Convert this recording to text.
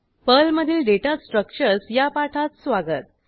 पर्लमधील data structures या पाठात स्वागत